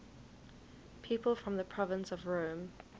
people from the province of rome